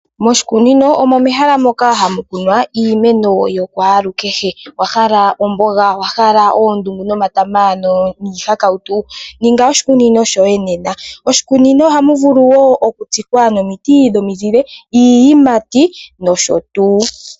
Moshikunino omo mehala moka hamu kunwa iimeno ya kwalukehe. Owa hala omboga, owa hala oondungu nomatama niihakautu? Ninga oshikunino shoye nena. Moshikunino ohamu vulu wo okutsikwa omiti dhomizile, iiyimati nosho tuu.